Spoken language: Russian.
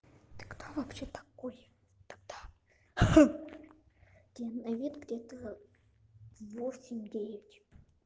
ты кто вообще такой тогда тебе лет где-то восемь девять